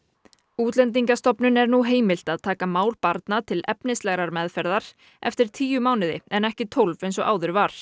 Útlendingastofnun er nú heimilt að taka mál barna til efnislegrar meðferðar eftir tíu mánuði en ekki tólf eins og áður var